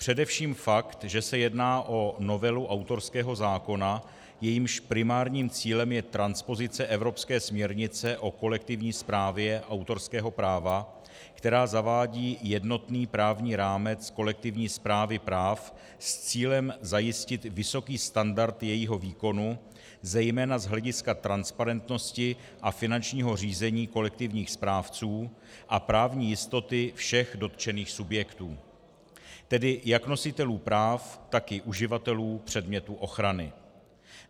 Především fakt, že se jedná o novelu autorského zákona, jejímž primárním cílem je transpozice evropské směrnice o kolektivní správě autorského práva, která zavádí jednotný právní rámec kolektivní správy práv s cílem zajistit vysoký standard jejího výkonu zejména z hlediska transparentnosti a finančního řízení kolektivních správců a právní jistoty všech dotčených subjektů, tedy jak nositelů práv, tak i uživatelů předmětu ochrany.